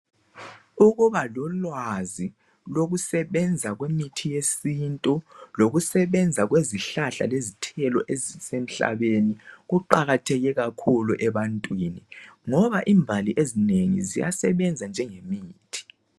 Ukuba lolwazi lokusebenza kwemithi yesintu lokusebenza kwezihlahla lezithelo ezisemhlabeni kuqakatheke kakhulu ebantwini ngoba imbali ezinengi ziyasebenza njenge mithi.